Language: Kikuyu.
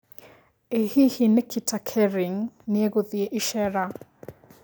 ĩ hihi Nikita Kering nĩeguthĩ ĩceera